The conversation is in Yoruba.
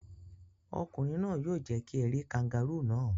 Ọkùnrin náà yóò jẹ kí ẹ rí kangárù náà.